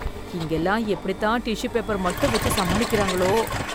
இங்கெல்லாம் எப்படித் தான் டிஷ்ஷூ பேப்பர் மட்டும் வெச்சு சமாளிக்கறாங்களோ?!